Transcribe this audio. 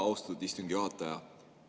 Austatud istungi juhataja!